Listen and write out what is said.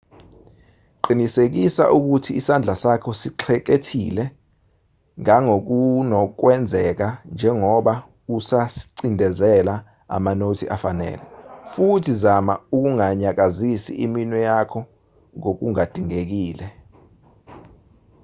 qinisekisa ukuthi isandla sakho sixhekethile ngangokunokwenzeka njengoba usacindezela amanothi afanele futhi zama ukunganyakazisi iminwe yakho ngokungadingekile